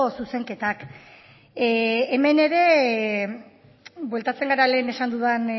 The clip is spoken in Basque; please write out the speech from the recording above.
zuzenketak hemen ere bueltatzen gara lehen esan dudan